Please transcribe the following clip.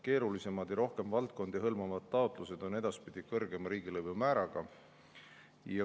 Keerulisemad ja rohkem valdkondi hõlmavad taotlused on edaspidi kõrgema riigilõivumääraga.